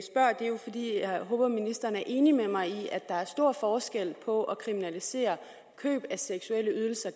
jeg håber ministeren er enig med mig i at der er stor forskel på at kriminalisere køb af seksuelle ydelser